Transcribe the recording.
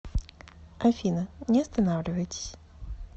афина не останавливайтесь